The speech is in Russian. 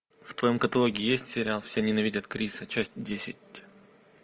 в твоем каталоге есть сериал все ненавидят криса часть десять